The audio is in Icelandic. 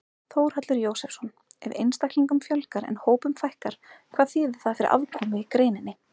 Þórhallur Jósefsson: Ef einstaklingum fjölgar en hópum fækkar, hvað þýðir það fyrir afkomu í greininni?